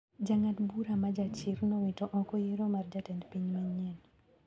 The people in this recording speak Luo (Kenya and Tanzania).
jang`ad bura ma jachir nowito oko yiero mar jatend piny mayien.